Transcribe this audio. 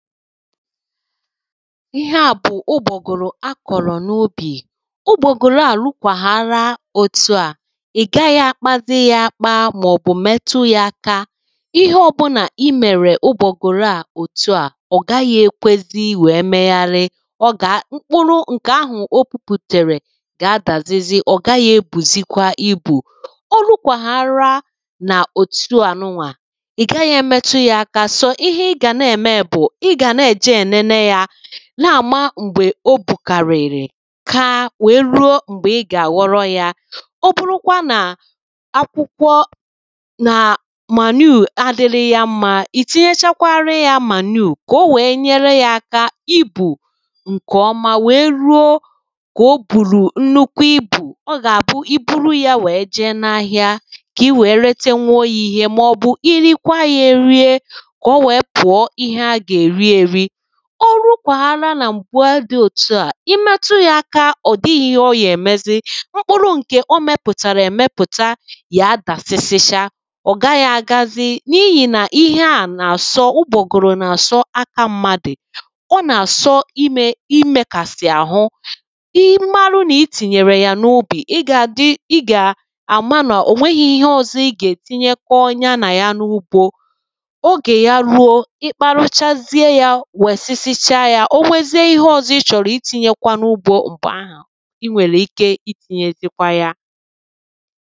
ihe à bù ụgbọ̀gụ̀rụ̀ a kọ̀rọ̀ n’ubì ụgbọ̀gụ̀rụ à rukwàrana òtu à ị̀ gaghị akpazị ya akpa màọ̀bụ̀ metu ya aka ihe ọbụlà I mèrè ụgbọ̀gụ̀rụ à òtu à ọ̀gaghị ekwezi wèe megharị mkpụrụ ǹkè ahù o pupùtèrè gà adàsịsị ọ gaghị ebùzikwa ibù órukwàrana òtuànụnwà ì gaghị̄ èmètu ya aka sò ihe ị gàna ème bù ị gà na- èje ènene ya na àma m̀gbè o bùkàrị̀rị̀ kaa wèe ruo m̀gbè ị gà-àghọ̀rò ya ọ bụrụkwa nà akwụkwọ nà manure adịrị ya mma ìtinyechakwara ya manure kà wèe nyere ya aka ibu ǹkè ọma wèe ruo m̀gbè o bùrù nnukwu ibù ọ gà-àbụ I buru ya wèe jee n’ahịa kà I wèe retenwuo ya ihe màọ̀bụ̀ irikwa ya erie kà o wèe pùọ ihe à gà-èri èri orukwàrana nà m̀gbe dị òtu à imetu ya aka ọ̀dịghị ihe ọ gà-èmezi mkpụrụ ǹkè o mepùtàrà èmepùta gà adàsịsịcha ọ̀ gaghị agazị n’ihì nà ihe à nà-àsọ ugbọ̀gụ̀rụ̀ nà-àsọ aka mmadù ọ nà-àsọ imekàsì àhụ ị mara nạ itìnyèrè yà n’ubì I gà àma nà ò nweghi ihe ọzọ ị gà-ètinye ko ya nà ya n’ugbo ogè ya ruo ị kparachazie ya wèsisichaa ya o nwere ihe ọzọ ị chọ̀rọ̀ itinye n’ugbo m̀gbè ahù I nwèrè ike itinyezikwa ya